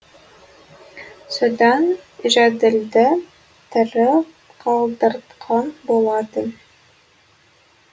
содан жәділді тірі қалдыртқан болатын